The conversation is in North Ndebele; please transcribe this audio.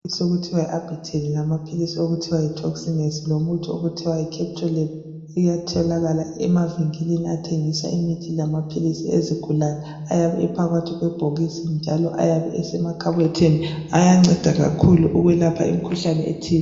Amaphilisi okuthiwa yi"Arbitel" lamaphilisi okuthiwa yi"Torsinex" lomuthi okuthiwa yi"Captolab" iyatholakala emavinkilini athengisa imithi lamaphilisi ezigulane. Ayabe ephakathi kwebhokisi njalo ayabe esemakhabothini. Ayanceda kakhulu ukwelapha imikhuhlane ethile.